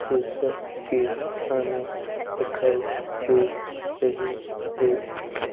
शीशा की हमें दिखाई दे रही है।